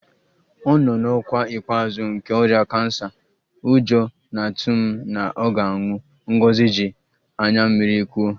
Ọ nọ n'ọkwa ikpeazụ nke ọrịa kansa, ụjọ na-atụ m na ọ ga-anwụ, Ngozi ji anya mmiri kwuo